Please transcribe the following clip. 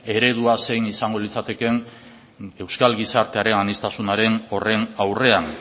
eredua zein izango litzatekeen euskal gizartearen aniztasunaren horren aurrean